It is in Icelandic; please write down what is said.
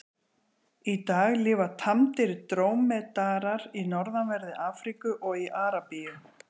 Í dag lifa tamdir drómedarar í norðanverðri Afríku og í Arabíu.